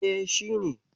E, shi ne.